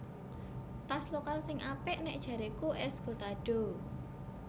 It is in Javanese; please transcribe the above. Tas lokal sing apik nek jareku Esgotado